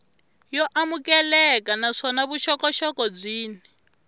yo amukeleka naswona vuxokoxoko byin